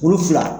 Kulu fila